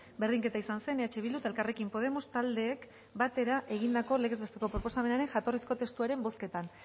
berdinketa izan zen eh bildu eta elkarrekin podemos taldeek batera egindako legez besteko proposamenaren jatorrizko testuaren bozketan